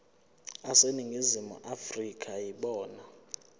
aseningizimu afrika yibona